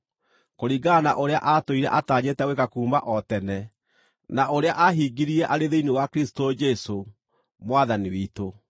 kũringana na ũrĩa aatũire atanyĩte gwĩka kuuma o tene, na ũrĩa aahingirie arĩ thĩinĩ wa Kristũ Jesũ, Mwathani witũ.